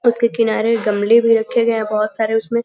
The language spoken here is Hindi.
उसके किनारे गमले भी रखे गए हैं बहुत सारे उसमें --